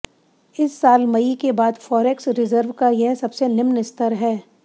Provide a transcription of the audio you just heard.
इस साल मई के बाद फॉरेक्स रिजर्व का यह सबसे निम्न स्तर है